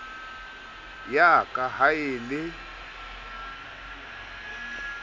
ya ka ha e le